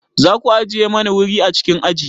Za ku ajiye mani wuri a cikin aji?